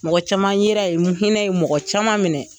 Mɔgɔ caman ye ra yen, n hinɛ ye mɔgɔ caman minɛ.